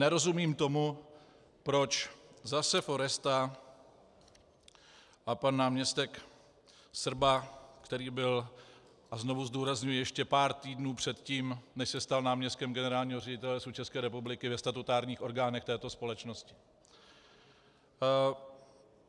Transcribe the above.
Nerozumím tomu, proč zase Foresta a pan náměstek Srba, který byl, a znovu zdůrazňuji, ještě pár týdnů předtím, než se stal náměstkem generálního ředitele Lesů České republiky, ve statutárních orgánech této společnosti.